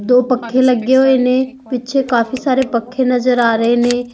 ਦੋ ਪੱਖੇ ਲੱਗੇ ਹੋਏ ਨੇ ਪਿੱਛੇ ਕਾਫੀ ਸਾਰੇ ਪੱਖੇ ਨਜ਼ਰ ਆ ਰਹੇ ਨੇ --